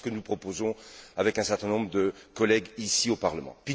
C'est ce que nous proposons avec un certain nombre de collègues, ici, au Parlement.